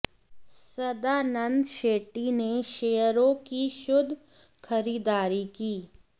सदानंद शेट्टी ने शेयरों की शुद्ध खरीदारी की